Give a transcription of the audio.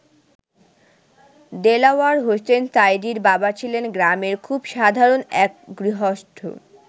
দেলাওয়ার হোসেন সাঈদীর বাবা ছিলেন গ্রামের খুব সাধারণ এক গৃহস্থ।